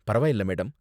பரவாயில்ல, மேடம்.